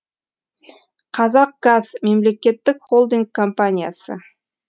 қазақгаз мемлекеттік холдинг компаниясы